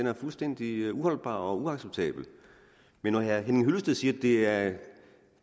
er fuldstændig uholdbar og uacceptabel men når herre henning hyllested siger at